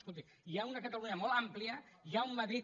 colti hi ha una catalunya molt àmplia hi ha un madrid